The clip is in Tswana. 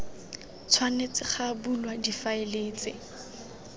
tshwanetse ga bulwa difaele tse